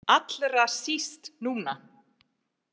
Allra síst núna.